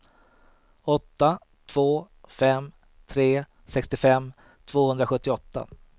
åtta två fem tre sextiofem tvåhundrasjuttioåtta